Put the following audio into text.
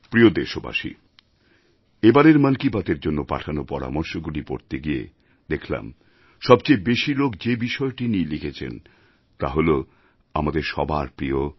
প্রিয় দেশবাসী এবারের মন কি বাতএর জন্য পাঠানো পরামর্শগুলি পড়তে গিয়ে দেখলাম সবচেয়ে বেশি লোক যে বিষয়টি নিয়ে লিখেছেন তা হল আমাদের সবার প্রিয়